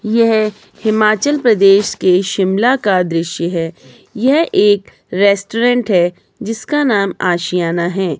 यह हिमाचल प्रदेश के शिमला का दृश्य है यह एक रेस्टोरेंट है जिसका नाम आशियाना है।